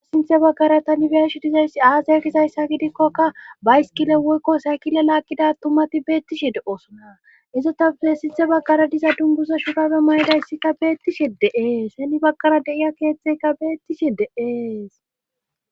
sinththe baggara tani be'ashshe dizayssi aazay gizayssa gidikkokka bayskile woykko saykile laagidda atumati beettishi de'osona izotappe sinththe baggara diza dunguza shurabe maydayssikka beettishi de'ees heni bagara deiya keeththeka beettishi de'ees